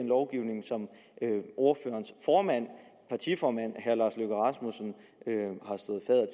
lovgivning som ordførerens partiformand herre lars løkke rasmussen